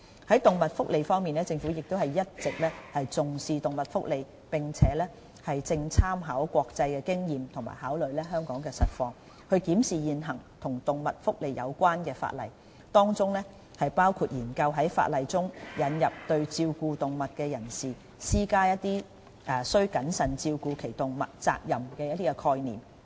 在動物福利方面，政府一直重視動物福利，正參考國際經驗及考慮香港實況，檢視現行與動物福利有關的法例，當中包括研究在法例中引入對照顧動物的人士施加須謹慎照顧其動物責任的概念。